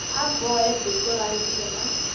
a bohe duku rantima